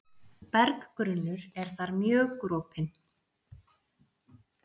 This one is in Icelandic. Berggrunnur er þar mjög gropinn.